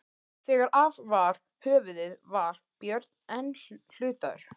Þegar af var höfuðið var Björn enn hlutaður.